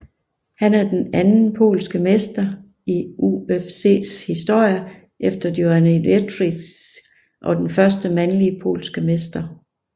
Han er den anden polske mester i UFCs historie efter Joanna Jędrzejczyk og den første mandlige polske mester